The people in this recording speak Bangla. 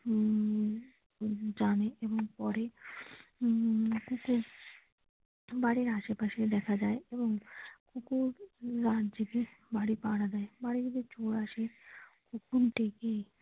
উম জানে এবং পরে উম কুকুর বাড়ির আশেপাশে দেখা যায় এবং কুকুর রাত জেগে বাড়ি পাহারা দেয় বাড়িতে যদি চোর আসে কুকুর ডেকে।